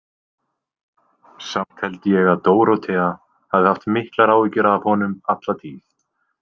Samt held ég að Dórótea hafi haft miklar áhyggjur af honum alla tíð.